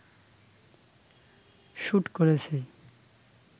shoot করেছি